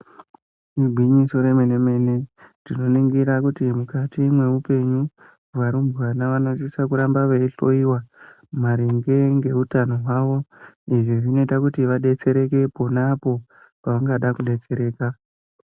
Igwinyiso remene mene tinonigurs kuti mukati mwoupenyu varumbwana vanosisa kuramba veyitoyiwa maringe neutano hwavo izvi zvinoita kuti vabetsereke ponapo pavangada kubetsereka.